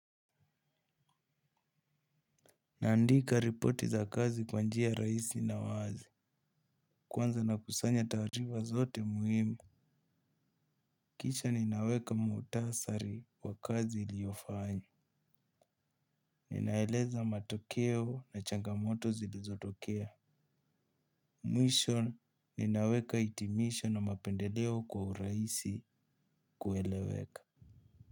Andika ripoti za kazi kwa njia rahisi na wazi. Kwanza na kusanya taarifa zote muhimu kisha ninaweka muktasari wa kazi niliofanyi. Ninaeleza matokeo na changamoto zilizotokea. Mwisho ninaweka itimisho na mapendeleo kwa urahisi kueleweka.